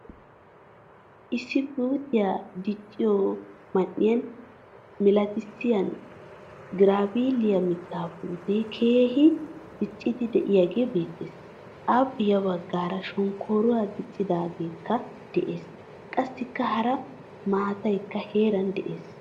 Issi puutiyaa dichchiyo man'iyaa milatiyasan girabbiliyaa mitta puute keehin diccidi deiayage beettees. Appe ya baggaara shonkkoruwaa dichchidogekka de'ees. Qassikka hara maataykka heeran de'ees.